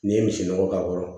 N'i ye misi nɔgɔ k'a kɔrɔ